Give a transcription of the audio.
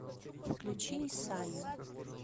включи исайю